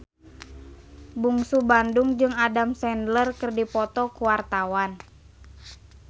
Bungsu Bandung jeung Adam Sandler keur dipoto ku wartawan